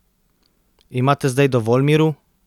Imate zdaj dovolj miru?